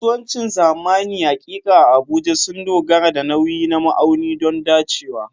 Kasuwancin zamani haƙiƙa a Abuja sun dogara da nauyi na ma'auni don dacewa.